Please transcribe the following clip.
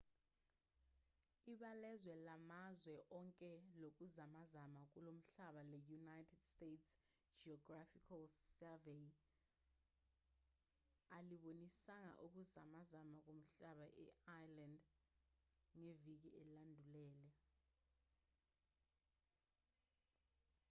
ibalazwe lamazwe onke lokuzamazama komhlaba le-united states geological survey alibonisanga ukuzamazama komhlaba e-iceland ngeviki elandulele